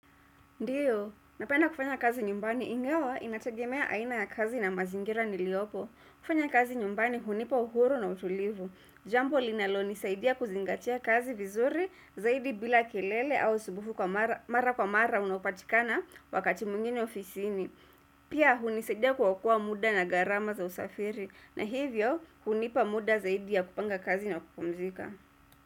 Ndiyo, napenda kufanya kazi nyumbani ingawa inategemea aina ya kazi na mazingira niliyopo kufanya kazi nyumbani hunipa uhuru na utulivu. Jambo linalonisaidia kuzingatia kazi vizuri zaidi bila kelele au usubufu mara kwa mara unaopatikana wakati mwingine ofisini. Pia hunisaidia kuokoa muda na gharama za usafiri na hivyo hunipa muda zaidi ya kupanga kazi na kupumzika.